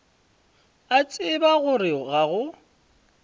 a tseba gore ga go